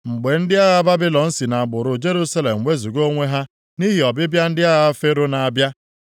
Mgbe ndị agha Babilọn si na gburugburu Jerusalem wezuga onwe ha nʼihi ọbịbịa ndị agha Fero na-abịa,